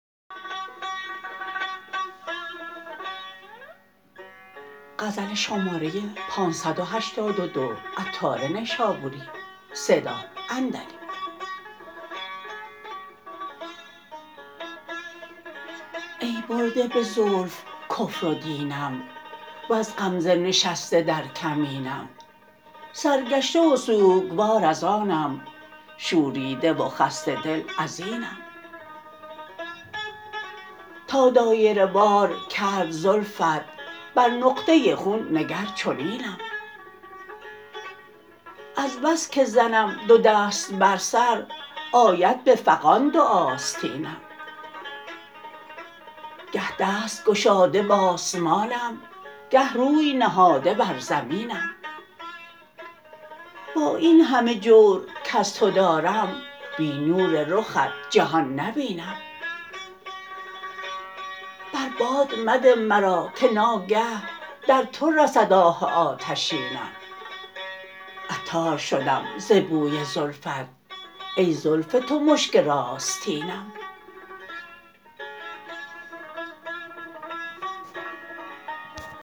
ای برده به زلف کفر و دینم وز غمزه نشسته در کمینم سرگشته و سوکوار از آنم شوریده و خسته دل ازینم تا دایره وار کرد زلفت بر نقطه خون نگر چنینم از بس که زنم دو دست بر سر آید به فغان دو آستینم گه دست گشاده به آسمانم گه روی نهاده بر زمینم با این همه جور کز تو دارم بی نور رخت جهان نبینم بر باد مده مرا که ناگه در تو رسد آه آتشینم عطار شدم ز بوی زلفت ای زلف تو مشک راستینم